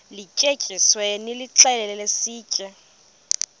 lityetyisiweyo nilixhele sitye